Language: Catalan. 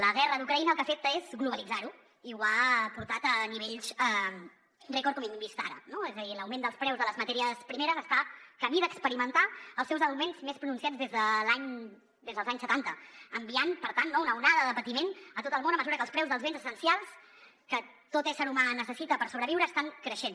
la guerra d’ucraïna el que ha fet és globalitzar ho i ho ha portat a nivells rècord com hem vist ara no és a dir l’augment dels preus de les matèries primeres està camí d’experimentar els seus augments més pronunciats des dels anys setanta enviant per tant una onada de patiment a tot el món a mesura que els preus dels béns essencials que tot ésser humà necessita per sobreviure estan creixent